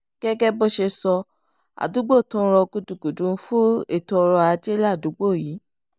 gẹ́gẹ́ bó ṣe sọ àdúgbò tó ń rọ gúdugùdu fún ètò ọrọ̀ ajé ládùúgbò yìí